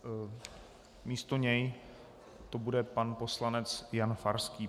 Místo něj to bude pan poslanec Jan Farský.